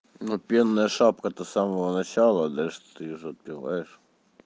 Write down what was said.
но пенная шапка то с самого начала а дальше ты её же отпиваешь